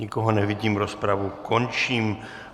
Nikoho nevidím, rozpravu končím.